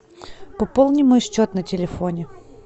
пополни мой счет на телефоне